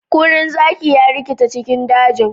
Kurin zaki ya rikita cikin daji.